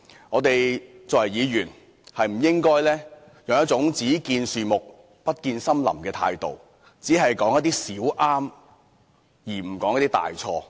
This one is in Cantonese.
我們作為議員，不應該用一種"只見樹木，不見森林"的態度，只說出一些"小對"，而不說出一些"大錯"。